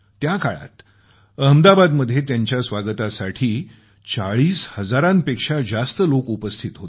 त्या काळात अहमदाबादमध्ये त्यांच्या स्वागतासाठी 40 हजारांपेक्षा जास्त लोक उपस्थित होते